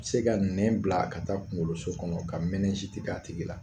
Bɛ se ka nɛn bila ka taa kunkoloso kɔnɔ ka k'a tigi la.